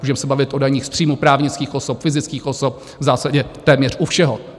Můžeme se bavit o daních z příjmu právnických osob, fyzických osob, v zásadě téměř u všeho.